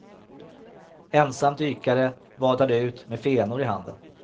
Ensam dykare vadade ut med fenor i handen.